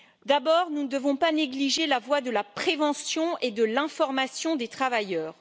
D'abord, nous ne devons pas négliger la voie de la prévention et de l'information des travailleurs.